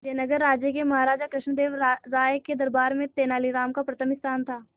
विजयनगर राज्य के महाराजा कृष्णदेव राय के दरबार में तेनालीराम का प्रथम स्थान था